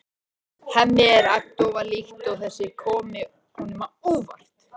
Hemmi er agndofa líkt og þetta komi honum á óvart.